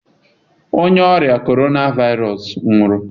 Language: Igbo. Onye ọrịa Corona Virus nwụrụ.